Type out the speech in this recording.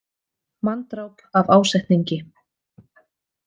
Manndráp af ásetningi.